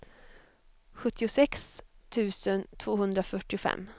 sjuttiosex tusen tvåhundrafyrtiofem